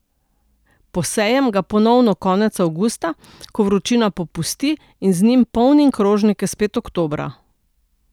Posejem ga ponovno konec avgusta, ko vročina popusti, in z njim polnim krožnike spet oktobra.